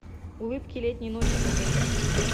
улыбки летней ночи покажи